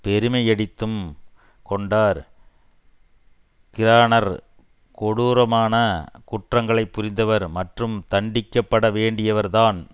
பெருமையடித்தும் கொண்டார் கிரானர் கொடூரமான குற்றங்களை புரிந்தவர் மற்றும் தண்டிக்க பட வேண்டியவர்தான்